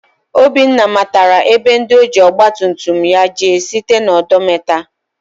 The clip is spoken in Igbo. Obinna matara ebe ndi ojiri ọgba tum tum ya jee site na odometa.